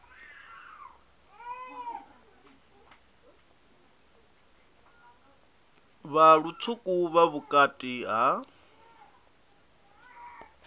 vha lutswuku vha vhukati ha